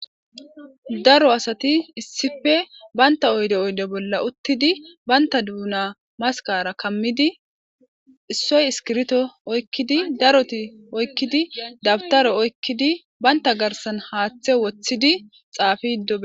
Daro asati issife baynta oyde oyde bolla uttidi baynta duuna maskara kammidi issoy iskirto oykkidi daroti oykkidi dabtaro oykkidi baynta garsan haaththe woththidi xaafi ddoe.